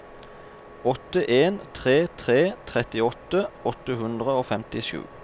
åtte en tre tre trettiåtte åtte hundre og femtisju